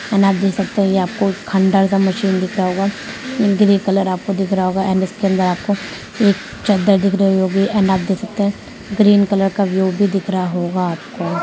And आप देख सकते है ये आपको खंडर सा मशीन दिख रहा होगा एंड ग्रे कलर आपको दिख रहा होगा एंड इसके अंदर आपको एक चद्दर दिख रही होगी एंड आप देख सकते है ग्रीन कलर का दिख रहा होगा आपको।